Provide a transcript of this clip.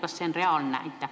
Kas see on reaalne?